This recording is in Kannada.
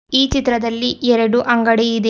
ಈ ಚಿತ್ರದಲ್ಲಿ ಎರಡು ಅಂಗಡಿ ಇದೆ.